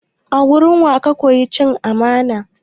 A wurin wa ka koya cin amana?